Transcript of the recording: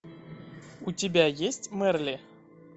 у тебя есть мерли